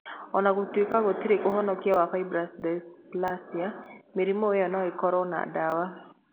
O na gũtuĩka gũtirĩ ũhonokio wa fibrous dysplasia, mĩrimũ ĩyo no ĩkorũo na ndawa.